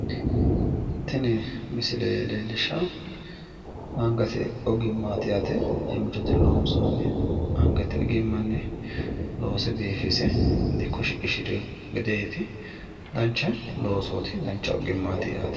Tini misile leellishaahu angate ogimmaati yaate angate loonsoonni angate ogimmanni loonse biifinse dikko shiqishirino gedeeti dancha loosooti dancha ogimmaati yaate.